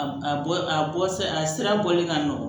A a bɔ a bɔ sira a sira bɔli ka nɔgɔ